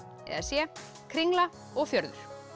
eða c kringla og fjörður